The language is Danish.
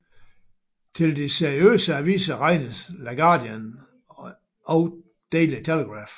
Til de seriøse aviser regnes The Guardian og Daily Telegraph